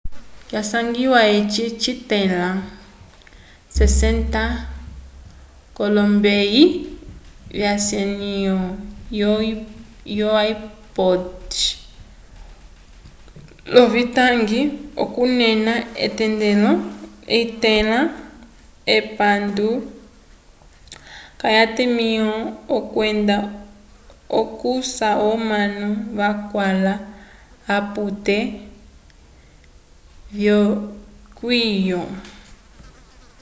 kwasangiwa eci citẽla 60 k'olombeyi vyesanyo yo ipods l'ovitangi okunena etendelo litẽla epandu k'atimĩho kwenda okusha omanu vakwãla l'apute vyeyokiwo